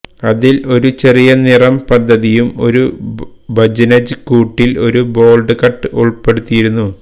അതിൽ ഒരു ചെറിയ നിറം പദ്ധതിയും ഒരു ബജ്നജ് കൂട്ടിൽ ഒരു ബോൾഡ് കട്ട് ഉൾപ്പെടുത്തിയിരുന്നു